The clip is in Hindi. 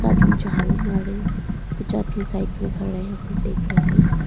आदमी झाड़ू मारे पीछे और साइड में कुछ आदमी देख रहे हैं।